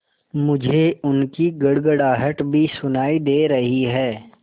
मुझे उनकी गड़गड़ाहट भी सुनाई दे रही है